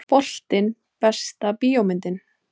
Boltinn Besta bíómyndin?